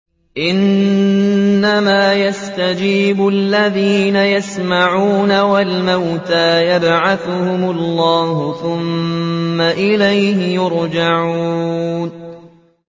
۞ إِنَّمَا يَسْتَجِيبُ الَّذِينَ يَسْمَعُونَ ۘ وَالْمَوْتَىٰ يَبْعَثُهُمُ اللَّهُ ثُمَّ إِلَيْهِ يُرْجَعُونَ